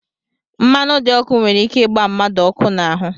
Mmanụ dị ọkụ nwere ike ịgba mmadụ ọkụ n'ahụ